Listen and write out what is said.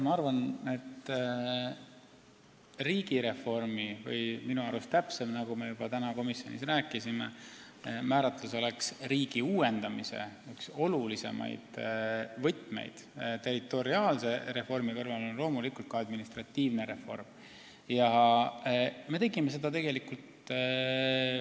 Ma arvan, et riigireformi – nagu me juba täna komisjonis rääkisime, oleks minu arust täpsem määratlus "riigi uuendamise reform" – üks olulisemaid võtmeid on loomulikult ka administratiivne reform territoriaalse reformi kõrval.